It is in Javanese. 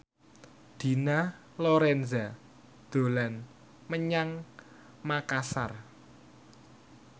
Dina Lorenza dolan menyang Makasar